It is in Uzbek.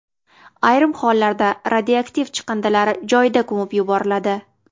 Ayrim hollarda radioaktiv chiqindilar joyida ko‘mib yuboriladi.